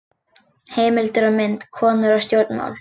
Heimildir og mynd: Konur og stjórnmál.